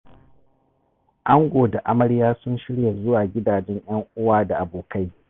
Ango da amarya sun shirya zuwa gidajen 'yan uwa da abokai.